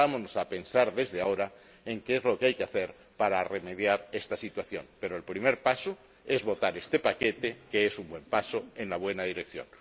Pongámonos a pensar desde ahora en qué es lo que hay que hacer para remediar esta situación. Pero el primer paso es votar este paquete, que es un buen paso en la buena dirección.